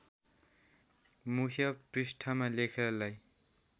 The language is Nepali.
मुख्य पृष्ठमा लेखलाई